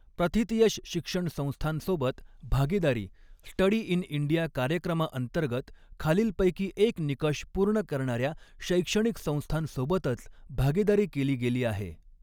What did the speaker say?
प्रतिथयश शिक्षण संस्थांसोबत भागीदारी स्टडी इन इंडिया कार्यक्रमाअंतर्गत खालीलपैकी एक निकष पूर्ण करणाऱ्या शैक्षणिक संस्थांसोबतच भागीदारी केली गेली आहे